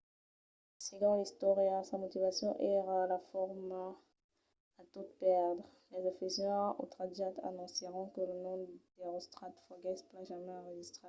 segon l’istòria sa motivacion èra la fama a tot pèrdre. los efesians otratjats anoncièron que lo nom d’erostrat foguèsse pas jamai enregistrat